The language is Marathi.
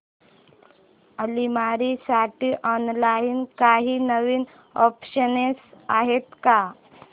अलमारी साठी ऑनलाइन काही नवीन ऑप्शन्स आहेत का